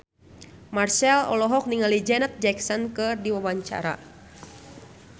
Marchell olohok ningali Janet Jackson keur diwawancara